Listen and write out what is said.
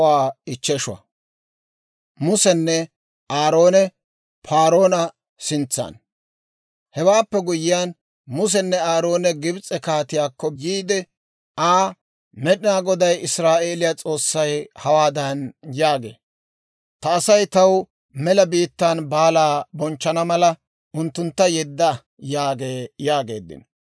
Hewaappe guyyiyaan Musenne Aaroone Gibs'e kaatiyaakko yiide Aa, «Med'inaa Goday, Israa'eeliyaa S'oossay hawaadan yaagee; ‹Ta Asay taw mela biittaan baalaa bonchchana mala, unttuntta yedda› yaagee» yaageeddino.